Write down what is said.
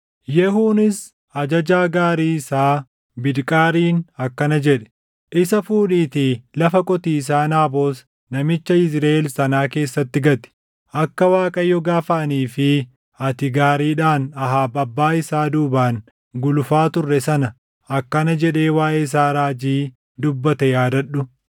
Yehuunis ajajaa gaarii isaa Bidqaariin akkana jedhe; “Isa fuudhiitii lafa qotiisaa Naabot namicha Yizriʼeel sanaa keessatti gati. Akka Waaqayyo gaafa anii fi ati gaariidhaan Ahaab abbaa isaa duubaan gulufaa turre sana akkana jedhee waaʼee isaa raajii dubbate yaadadhu: